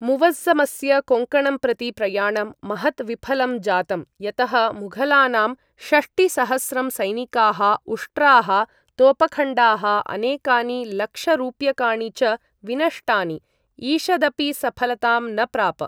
मुवज़्ज़मस्य कोङ्कणं प्रति प्रयाणं महत् विफलं जातम्, यतः मुघलानां षष्टिसहस्रं सैनिकाः, उष्ट्राः, तोपखण्डाः, अनेकानि लक्षरूप्यकाणि च विनष्टानि, ईषदपि सफलतां न प्राप।